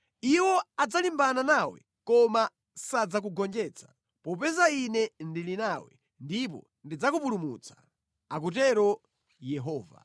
Iwo adzalimbana nawe koma sadzakugonjetsa, popeza Ine ndili nawe ndipo ndidzakupulumutsa,” akutero Yehova.